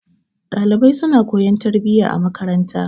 Ɗalibai suna koyon tarbiyya a makaranta.